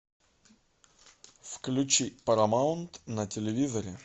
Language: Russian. включи парамаунт на телевизоре